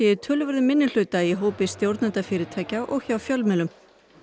í töluverðum minnihluta í hópi stjórnenda fyrirtækja og hjá fjölmiðlum